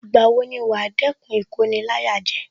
Ìgbà wo ni wàá dẹ́kun Ìkoni-láyàjẹ